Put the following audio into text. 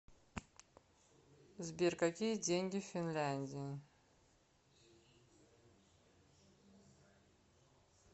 сбер какие деньги в финляндии